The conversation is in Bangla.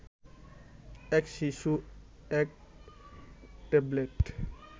এক শিশু এক ট্যাবলেট